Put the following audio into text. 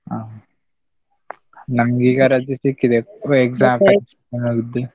ಅಹ್ ನಮ್ಗೆ ಈಗ ರಜೆ ಸಿಕ್ಕಿದೆ ಹೌದ್.